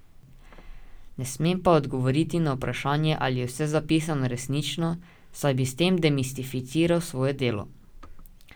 Ne smem pa odgovoriti na vprašanje, ali je vse zapisano resnično, saj bi s tem demistificiral svoje delo.